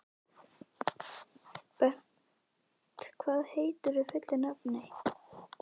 Bent, hvað heitir þú fullu nafni?